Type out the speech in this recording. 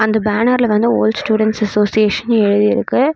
அந்த பேனர்ல வந்து ஓல்ட் ஸ்டுடென்ட் அசோசியேஷன்னு எழுதி இருக்கு.